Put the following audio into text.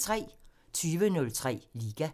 20:03: Liga